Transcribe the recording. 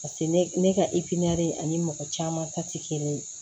Paseke ne ka ani mɔgɔ caman ta tɛ kelen ye